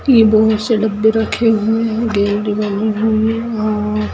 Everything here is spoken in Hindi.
ये बहुत से डब्बे रखे हुए है।